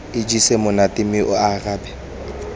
ijesa monate mme a arabe